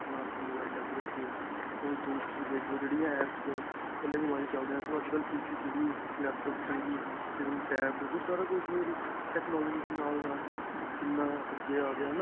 ਆਪਣਾ ਤੇ mobile ਅਲੱਗ ਰਖਿਏ. ਹੁਣ ਤੁਸੀਂ ਦੇਖਲੋ ਜਿਹੜੀਆਂ apps ਕੱਲੇ mobile ਵਿੱਚ ਚਲਦਿਆਂ ਸੀ. ਓਹ ਅੱਜਕੱਲ PC ਵਿੱਚ ਵੀ, laptop ਵਿੱਚ ਵੀ, ਤੇ ਫ਼ਿਰ TAB ਓਹ ਸਾਰਾ ਕੁੱਝ technology ਦੇ ਨਾਲ-ਨਾਲ ਕਿੰਨਾ ਅੱਗੇ ਆ ਗਿਆ ਹੈ ਨਾਂ.